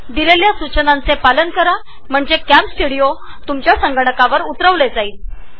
दिलेल्या सुचनांचे पालन करता हे सॉफ्टवेअर तुमच्या संगणकावर डाउनलोड होईल